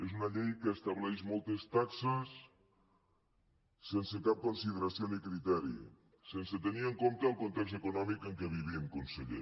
és una llei que estableix moltes taxes sense cap consideració ni criteri sense tenir en compte el context econòmic en què vivim conseller